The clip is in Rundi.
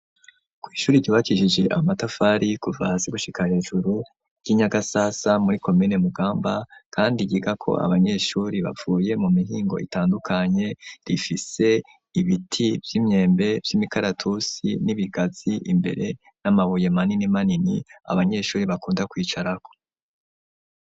Kw'ishuri ryubakishijwej amatafari kuva hasi gushika hejuru ry'i Nyagasasa muri komine Mugamba kandi ryigako abanyeshuri bavuye mu mihingo itandukanye, rifise ibiti vy'imyembe, vy'imikaratusi n'ibigazi, imbere ni amabuye maninimanini abanyeshuri bakunda kwicarako.